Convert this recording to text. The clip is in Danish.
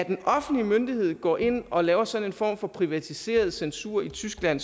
en offentlig myndighed går ind og laver sådan en form for privatiseret censur i tyskland